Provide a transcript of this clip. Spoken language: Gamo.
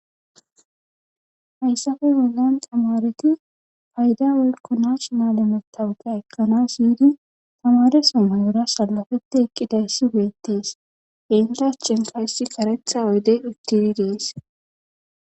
Hayssafe bollan tamareti payda wolko naach maalematawuke ekkanas yidu tamare samay ura salofete eqqidayssi beettees enhirachenkayssi karetha oydey uttidi dees.